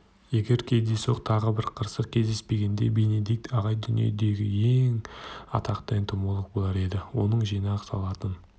егер кездейсоқ тағы бір қырсық кездеспегенде бенедикт ағай дүние жүзіндегі ең атақты энтомолог болар еді оның жинақ салатын